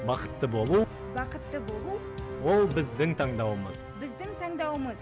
бақытты болу бақытты болу ол біздің таңдауымыз біздің таңдауымыз